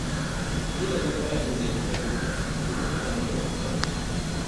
Ka daina kwaikwayon abin da ya fi ƙarfinka, domin hakan babbar illa ce.